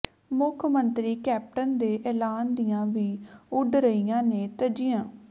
ਮੁੱਖ ਮੰਤਰੀ ਕੈਪਟਨ ਦੇ ਐਲਾਨ ਦੀਆਂ ਵੀ ਉਡ ਰਹੀਆਂ ਨੇ ਧੱਜੀਆਂ